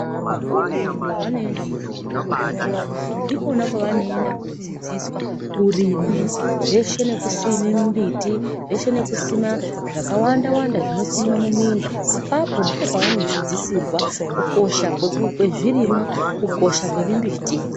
Vana vadoko pavanoenda kuzvikora ndikwona kwavanoenda kodzidziswa kurima zveshe nekusima mbiti nekusima zvakawanda wanda apapo ndipo pavanodzidziswa kukosha kwezvirimwa, kukosha kwemimbiti.